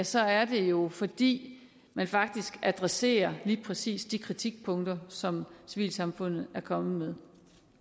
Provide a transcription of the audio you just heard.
så er det jo fordi man faktisk adresserer lige præcis de kritikpunkter som civilsamfundet er kommet